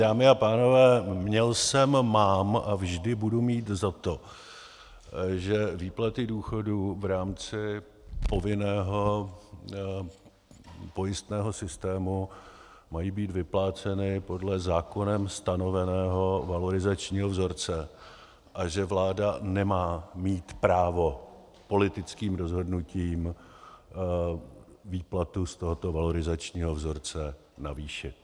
Dámy a pánové, měl jsem, mám a vždy budu mít za to, že výplaty důchodů v rámci povinného pojistného systému mají být vypláceny podle zákonem stanoveného valorizačního vzorce a že vláda nemá mít právo politickým rozhodnutím výplatu z tohoto valorizačního vzorce navýšit.